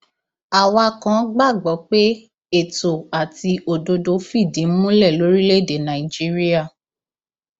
àwa kan gbàgbọ pé ètò àti òdodo fìdí múlẹ lórílẹèdè nàíjíríà